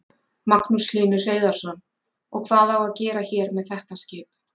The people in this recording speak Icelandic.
Magnús Hlynur Hreiðarsson: Og hvað á að gera hér með þetta skip?